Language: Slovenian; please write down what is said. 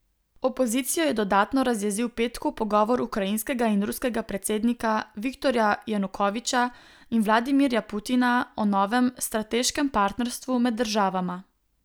Opozicijo je dodatno razjezil petkov pogovor ukrajinskega in ruskega predsednika Viktorja Janukoviča in Vladimirja Putina o novem strateškem partnerstvu med državama.